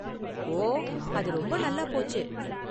ஓ, அது ரொம்ப நல்லா போச்சு!